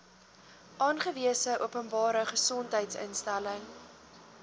aangewese openbare gesondheidsinstelling